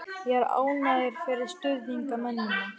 Ég er ánægður fyrir stuðningsmennina.